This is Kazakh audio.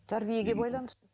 тәрбиеге байланысты